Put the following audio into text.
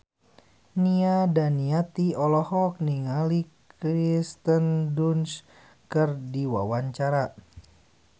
Nia Daniati olohok ningali Kirsten Dunst keur diwawancara